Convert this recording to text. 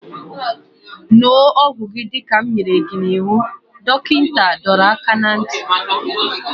Ṅụọ ọgwụ gị dịka m nyere gị iwu! Dọkịta dọrọ aka ná ntị